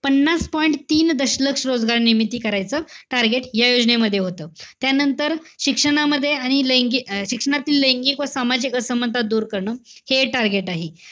पन्नास point तीन दशलक्ष रोजगार निर्मिती करायचं target या योजनेमध्ये होतं. त्यानंतर, शिक्षणामध्ये आणि लैंग~ अं शिक्षणातील लैंगिक व सामाजिक असमानता दूर करणं. हे target आहे.